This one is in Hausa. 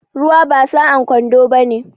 Ruwa ba sa'an kwando bane